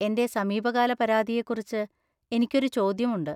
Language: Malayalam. എന്‍റെ സമീപകാല പരാതിയെക്കുറിച്ച് എനിക്ക് ഒരു ചോദ്യമുണ്ട്.